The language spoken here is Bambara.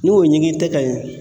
N'o ɲigin tɛ ka ɲɛ.